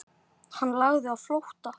Hann lagði á flótta.